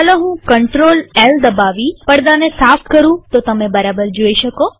ચાલો હું ctrll દબાવી પડદાને સાફ કરુંતો તમે બરાબર જોઈ શકો